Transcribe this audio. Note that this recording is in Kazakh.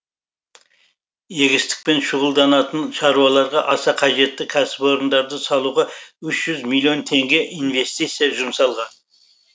егістікпен шұғылданатын шаруаларға аса қажетті кәсіпорындарды салуға үш жүз миллион теңге инвестиция жұмсалған